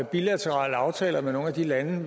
bilaterale aftaler med nogle af de lande